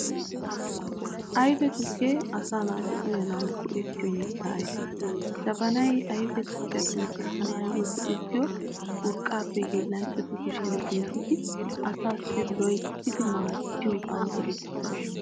Ayfe tukke asa naati uyyanawu go"ettiyoo mitta ayfe. Jabanay ayfe tukkiyaa penttissanaayyo go"ettiyoo urqqappe hiillanchatu kushiyaan giigidi asaassi loyttidi maadiyoogan eretidabaa.